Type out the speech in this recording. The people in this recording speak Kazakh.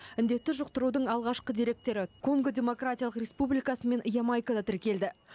індетті жұқтырудың алғашқы деректері конго демократиялық республикасы мен ямайкада тіркелді